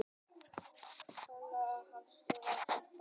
Tólfta heimsmetið hans eða eitthvað.